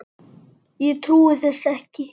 Ég trúi þessu ekki!